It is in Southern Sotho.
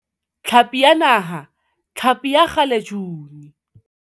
Tlhapi ya Naha, hlapi ya kgalejuni.